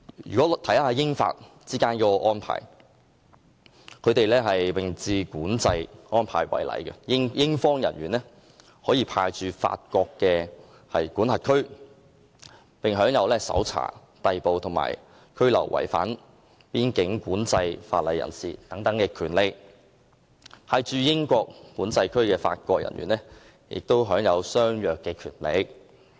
以英法之間實施的並置管制安排為例，英方人員可以派駐法國管制區，並享有搜查、逮捕和拘留違反邊境管制法例人士的權力，而派駐英國管制區的法國人員也享有相若權力。